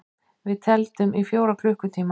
Við tefldum í fjóra klukkutíma!